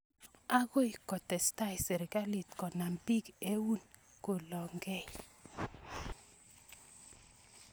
Akoi kotestai sirikalit konam piik eun kolong' kei